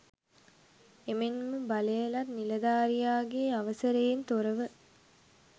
එමෙන්ම බලයලත් නිලධාරියාගේ අවසරයෙන් තොරව